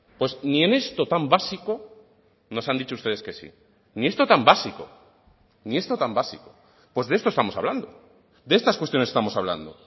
pues ni en esto tan básico nos han dicho ustedes que sí ni esto tan básico ni esto tan básico pues de esto estamos hablando de estas cuestiones estamos hablando